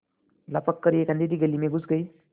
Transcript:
लपक कर एक अँधेरी गली में घुस गये